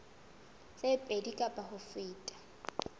tse pedi kapa ho feta